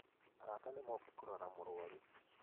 Arata nĩ moka kũrora mũrũaru